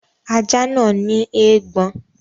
Ajá náà ní eégbọn.